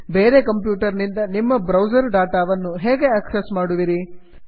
ಬೇರೆ ಕಂಪ್ಯೂಟರ್ ನಿಂದ ನಿಮ್ಮ ಬ್ರೌಸರ್ ಡಾಟಾ ವನ್ನು ಹೇಗೆ ಆಕ್ಸಸ್ ಮಾಡುವಿರಿ